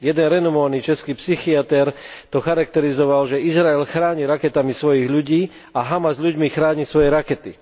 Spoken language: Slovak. Jeden renomovaný český psychiater to charakterizoval, že Izrael chráni raketami svojich ľudí a Hamas ľuďmi chráni svoje rakety.